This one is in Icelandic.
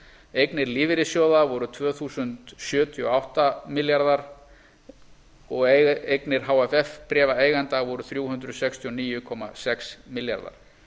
eignir lífeyrissjóða voru tvö þúsund sjötíu og átta milljarðar og eignir hff bréfa eigenda voru þrjú hundruð sextíu og níu komma sex milljarðar